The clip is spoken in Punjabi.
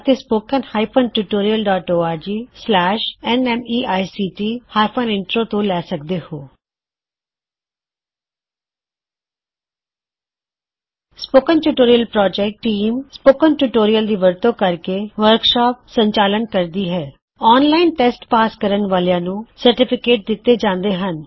ਸਪੋਕਨਟਿਊਟੋਰਿਅਲ ਪਰੋਜੈਕਟSpoken ਟਿਊਟੋਰੀਅਲ ਪ੍ਰੋਜੈਕਟ ਟੀਸ ਸਪੋਕਨ ਟਿਊਟੋਰਿਅਲ ਦੀ ਵਰਤੋ ਕਰਦੇ ਹੋਏ ਵਰਕਸ਼ਾਪ ਦਾ ਸੰਚਾਲਨ ਕਰਦੀ ਹੈ ਆਨਲਾਈਨ ਟੇਸਟ ਪਾਸ ਕਰਨ ਵਾਲਿਆਂ ਨੂ ਸਰਟੀਫਿਕੇਟ ਦਿੱਤੇ ਜਾਂਦੇ ਹਨ